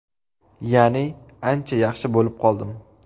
Ya’ni ancha yaxshi bo‘lib qoldim.